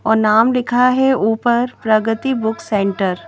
और नाम लिखा है ऊपर प्रगति बुक सेंटर।